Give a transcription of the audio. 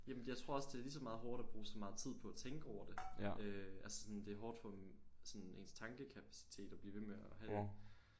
Jamen jeg tror også det er lige så meget hårdt at bruge så meget tid på at tænke over det øh altså sådan det er hårdt for sådan ens tankekapacitet at blive ved med at have